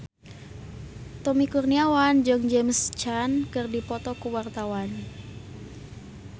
Tommy Kurniawan jeung James Caan keur dipoto ku wartawan